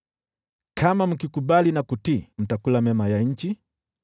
Kama mkikubali na kutii, mtakula mema ya nchi,